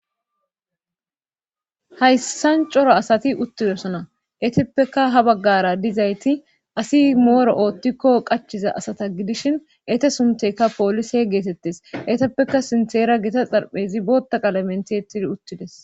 Hayssan cora asati uttidesona eteppeka ha baggara dizayti asi mooro oottikko qachiza asata gidishin ete suntekka poolise geetettes eteppeka sintheera gita xarphezi bootaqalamenti etidi uttides.